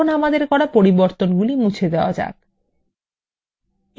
এখন আমাদের করা পরিবর্তন মুছে দেওয়া যাক